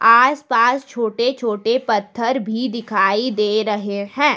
आसपास छोटे छोटे पत्थर भी दिखाई दे रहे हैं।